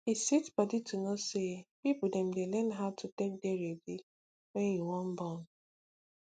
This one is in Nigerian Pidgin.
e sweet body to know say people dem dey learn about how to take dey ready wen u wan born